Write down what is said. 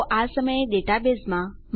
તો આ સમયે ડેટાબેઝમાં